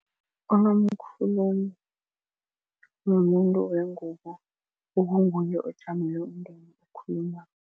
Nomkhulumi mumuntu wengubo okunguye ojamele umndeni okhulumako.